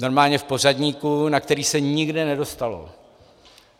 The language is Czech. Normálně v pořadníku, na který se nikdy nedostalo.